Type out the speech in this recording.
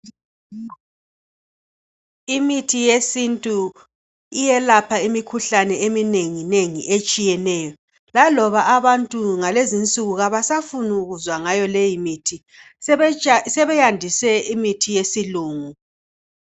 Imithi yesintu iyelapha imikhuhlane eminenginengi etshiyeneyo. Laloba abantu ngalezinsuku abasafunukuzwa ngayo leyimithi. Sebeja sebeyandise imithi yesilungu.